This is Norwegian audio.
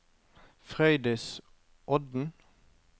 Frøydis Odden